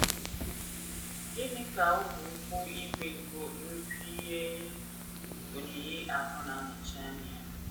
Gịnị ka ogwe ụkwụ ígwè nke nnukwu ihe oyiyi ahụ na - anọchi anya ya?